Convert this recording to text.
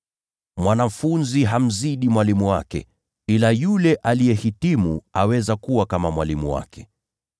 Mwanafunzi hawezi kumzidi mwalimu wake, ila yule aliyehitimu aweza kuwa kama mwalimu wake.